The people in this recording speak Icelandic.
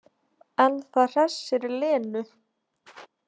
En það hressir Lenu.